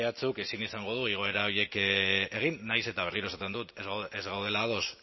ehuk ezin izango du igoera horiek egin nahiz eta berriro esaten dut ez gaudela ados